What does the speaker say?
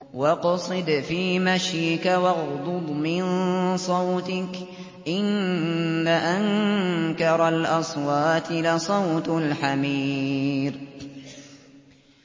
وَاقْصِدْ فِي مَشْيِكَ وَاغْضُضْ مِن صَوْتِكَ ۚ إِنَّ أَنكَرَ الْأَصْوَاتِ لَصَوْتُ الْحَمِيرِ